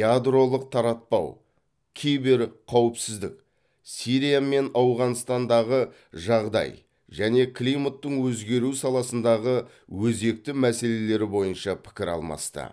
ядролық таратпау киберқауіпсіздік сирия мен ауғанстандағы жағдай және климаттың өзгеруі саласындағы өзекті мәселелері бойынша пікір алмасты